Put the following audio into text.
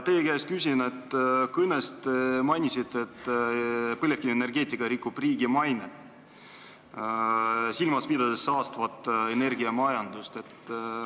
Kõnes te mainisite, et põlevkivienergeetika rikub riigi mainet, silmas pidades saastavat energiamajandust.